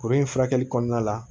Kuru in furakɛli kɔnɔna la